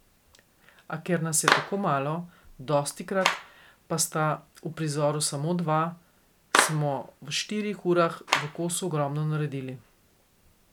A ker nas je tako malo, dostikrat pa sta v prizoru samo dva, smo v štirih urah v kosu ogromno naredili.